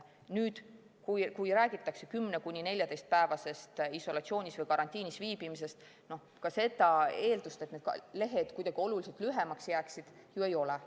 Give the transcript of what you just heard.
Nüüd, kui räägitakse 10–14‑päevasest isolatsioonis või karantiinis viibimisest, siis ka seda eeldust, et need lehed kuidagi oluliselt lühemaks jääksid, ju ei ole.